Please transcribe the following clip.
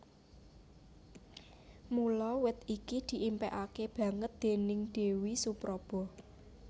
Mula wit iki diimpékaké banget déning Déwi Supraba